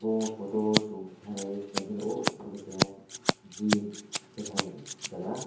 ahh photo o chung khalaie naike o keha gym keha jaaga.